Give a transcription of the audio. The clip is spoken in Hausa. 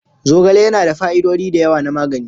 Zogale yana da fa'idodi da yawa na magani.